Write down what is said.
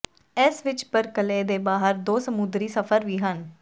ਇਸ ਵਿਚ ਬਰਕਲੇ ਦੇ ਬਾਹਰ ਦੋ ਸਮੁੰਦਰੀ ਸਫ਼ਰ ਵੀ ਹਨ